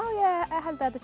ég held að þetta sé